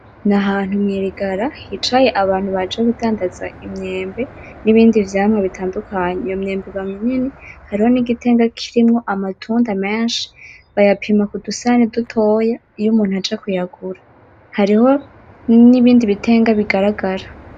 N'ahantu mwirigara hicaye abantu baje kudandaza imyembe n'ibindi vyamwa bitandukanye. Iyo myembe iba minini hariho nigitenga kirimwo amatunda menshi. Barapima kudusahani dutoya iyo umuntu aje kuyagura. Hariho nibindi bitenga bigaragara.